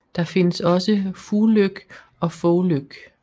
Der findes også Fuglyk og Fåvløk